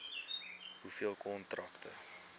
hoeveel kontrakte